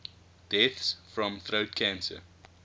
deaths from throat cancer